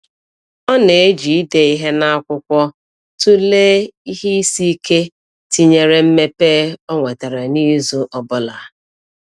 Ọ na-eji ide ihe n’akwụkwọ tụlee ihe isi ike tinyere mmepe ọ nwetara n’izu ọ bụla.